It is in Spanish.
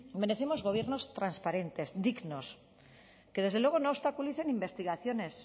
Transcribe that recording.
merecemos gobiernos transparentes dignos que desde luego no obstaculicen investigaciones